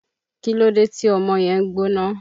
Kílódé tí ọmọ yẹn ń gbóná?